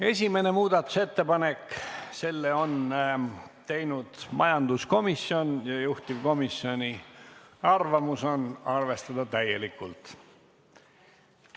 Esimese muudatusettepaneku on teinud majanduskomisjon, juhtivkomisjoni arvamus on arvestada seda täielikult.